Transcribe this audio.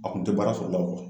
A kun tɛ baara sɔrɔ la o kɔ